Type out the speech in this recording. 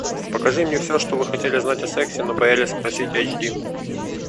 покажи мне все что вы хотели знать о сексе но боялись спросить эйчди